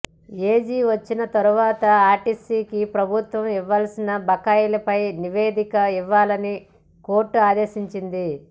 AG వచ్చిన తర్వాత ఆర్టీసీకి ప్రభుత్వం ఇవ్వాల్సిన బకాయిలపై నివేదిక ఇవ్వాలని కోర్టు ఆదేశించింది